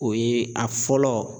O ye a fɔlɔ